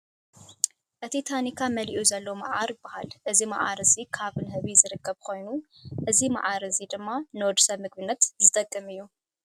እቲ ተኒካ መሊኡ ዘሎ ማዓር ይባሃል እዚ መዓር እዚ ካብ ንህቢ ዝርከብ ኮይኑ እዚ ማር እዚ ድማ ንወዲሰብ ንምግብነት ዝጥቀመሉ እዩ።